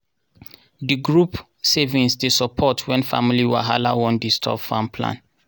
di group savings dey support wen family wahala wan disturb farm plan.